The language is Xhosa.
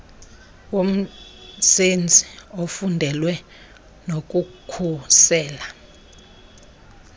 womsenzi ofundelweyo nokukhusela